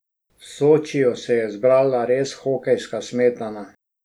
V Sočiju se je zbrala res hokejska smetana.